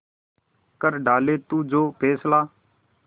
कर डाले तू जो फैसला